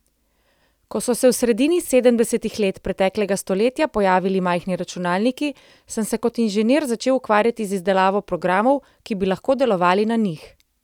Ko so se v sredini sedemdesetih let preteklega stoletja pojavili majhni računalniki, sem se kot inženir začel ukvarjati z izdelavo programov, ki bi lahko delovali na njih.